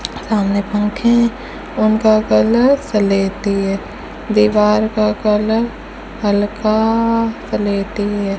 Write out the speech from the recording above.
सामने पंखे हैं उनका कलर स्लेटी है दीवार का कलर हल्का स्लेटी है।